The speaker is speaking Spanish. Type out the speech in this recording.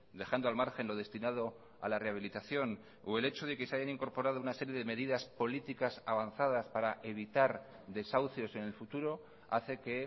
dejando al margen lo destinado a la rehabilitación o el hecho de que se hayan incorporado una serie de medidas políticas avanzadas para evitar desahucios en el futuro hace que